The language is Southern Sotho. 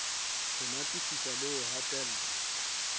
ho natefisa le ho hatella